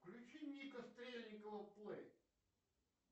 включи ника стрельникова плей